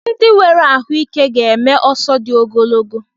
Ndị nwere ahụike ga-eme ọsọ dị ogologo